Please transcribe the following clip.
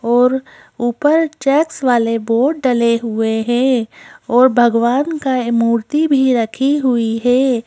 और ऊपर चैक्स वाले बोर्ड डले हुए हैं और भगवान का मूर्ति भी रखी हुई है।